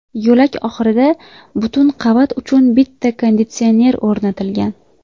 Yo‘lak oxirida butun qavat uchun bitta konditsioner o‘rnatilgan.